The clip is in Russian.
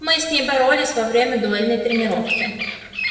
мы с ней боролись во время дуэльной тренировки